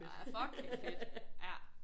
Fucking fedt ja